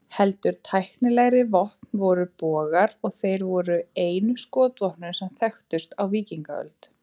Heldur tæknilegri vopn voru bogar, og þeir voru einu skotvopnin sem þekktust á víkingaöld.